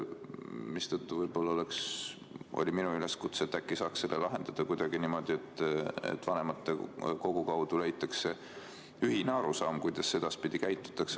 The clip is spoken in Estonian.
Minu üleskutse oli, et äkki saaks selle probleemi lahendada kuidagi niimoodi, et vanematekogu kaudu leitakse ühine arusaam, kuidas edaspidi käituda.